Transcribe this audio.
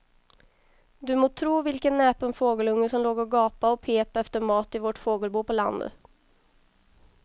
Du må tro vilken näpen fågelunge som låg och gapade och pep efter mat i vårt fågelbo på landet.